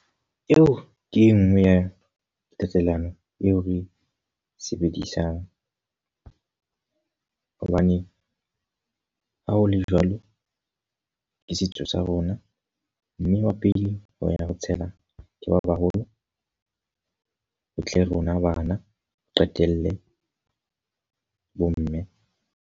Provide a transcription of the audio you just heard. Eo ke e nngwe ya tatelano eo re sebedisang. Hobane ha ho le jwalo, ke setso sa rona. Mme ba pele ho ya ho tshela, ke ba baholo, ho tle rona bana. Ho qetelle bo mme.